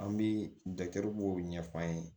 An bɛ dɔw ɲɛf'an ye